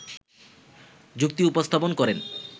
যুক্তি উপস্থাপন করেন